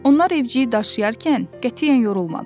Onlar evciyi daşıyarkən qətiyyən yorulmadılar.